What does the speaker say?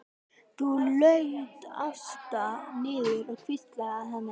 Þá laut Ásta niður og hvíslaði að henni.